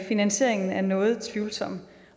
finansieringen er noget tvivlsom